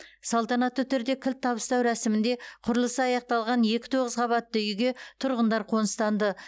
салтанатты түрде кілт табыстау рәсімінде құрылысы аяқталған екі тоғыз қабатты үйге тұрғындар қоныстанды